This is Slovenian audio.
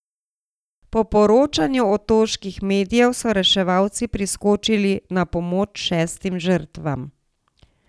Po poročanju otoških medijev so reševalci priskočili na pomoč šestim žrtvam.